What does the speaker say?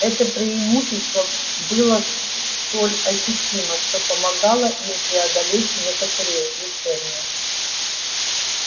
это преимущество было столь ощутимо что помогало им преодолеть некоторые лишения